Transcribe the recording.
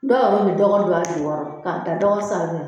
Dɔw yɛrɛ bɛ dɔgɔ don a jukɔrɔ k'a da dɔgɔ sanfɛ